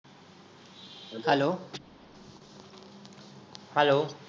hello hello